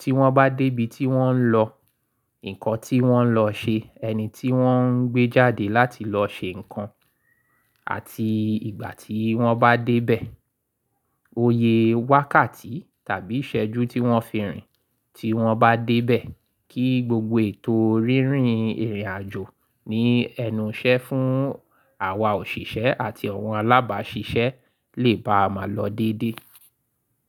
tí wọ́n bá dé ibi tí wọ́n ń lọ, nǹkan tí wọ́n lọ ṣe, ẹni tí wọ́n ń gbé jáde láti lọ ṣe nǹkan àti ìgbà tí wọ́n bá dé bẹ̀, oyè wákàtí tàbí ìṣẹ́jú tí wọ́n fi rìn tí wọ́n bá dé bẹ̀ kí gbogbo ètò rírìn ìrìnàjò ní ẹnu iṣẹ́ fún àwa òṣìṣẹ́ àti àwọn alábáṣiṣẹ́ lè bá máa lọ dédé.